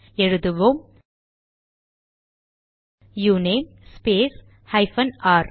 எழுதுவோம் uname space hyphen R